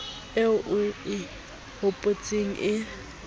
eo o e hopotseng e